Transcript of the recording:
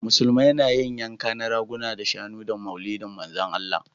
Musulmai na yin yanka na raguna da shanu da maulidi manzan allah